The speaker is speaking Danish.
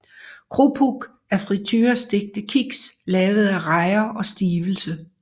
Krupuk er friturestegte kiks lavet af rejer og stivelse